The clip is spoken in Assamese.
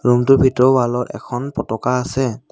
ৰূমটোৰ ভিতৰৰ ৱালত এখন পতাকা আছে।